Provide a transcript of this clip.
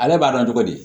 Ale b'a dɔn cogo di